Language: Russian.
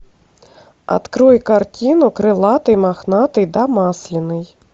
открой картину крылатый мохнатый да масленый